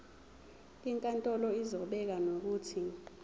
inkantolo izobeka nokuthi